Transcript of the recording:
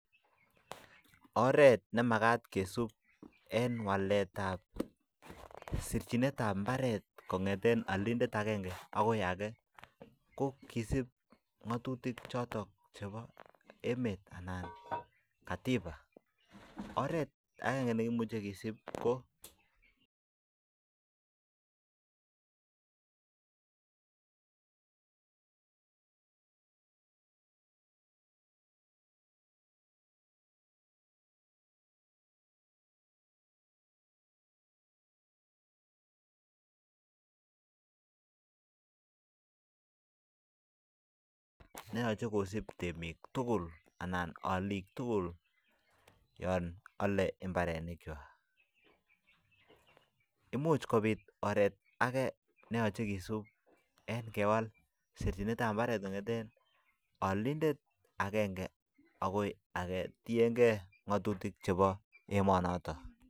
Oret nemagat kisup en walet ab sirjinet ab imbaret kongeten olindet agenge ake ko kisup ngotutikchoton chebo emet atiba oret akenge ne kimuch kisup ko neyoche kosup temik tugul anan olik yon ole imbarenik kwak 8much kobit oret age en kewal sirjinet ab imbaret en olindet agenge agoi age tienge ngatutik ab emonotet